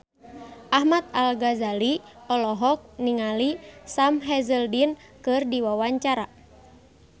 Ahmad Al-Ghazali olohok ningali Sam Hazeldine keur diwawancara